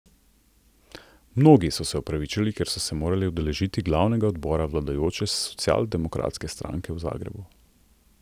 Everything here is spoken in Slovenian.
Mnogi so se opravičili, ker so se morali udeležiti glavnega odbora vladajoče socialdemokratske stranke v Zagrebu.